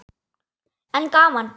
En gaman!